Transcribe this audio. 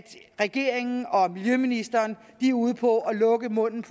regeringen og miljøministeren er ude på at lukke munden